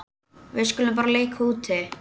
Við skulum bara leika úti.